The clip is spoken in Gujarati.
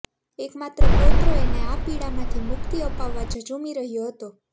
એક માત્ર પૌત્ર એને આ પીડામાંથી મુક્તિ અપાવવા ઝઝુમી રહ્યો હતો